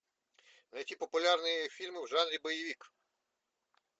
найти популярные фильмы в жанре боевик